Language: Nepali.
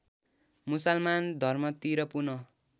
मुसलमान धर्मतिर पुनः